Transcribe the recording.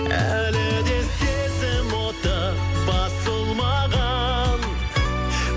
әлі де сезім оты басылмаған